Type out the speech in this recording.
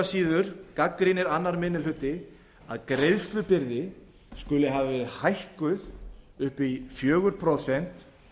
síður gagnrýnir aðra minni hluti að greiðslubyrði skuli hafa verið hækkuð upp í fjögur prósent